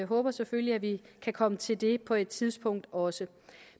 håber selvfølgelig at vi kan komme til det på et tidspunkt også